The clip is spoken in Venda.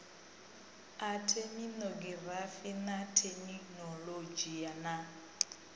a theminogirafi na theminolodzhi na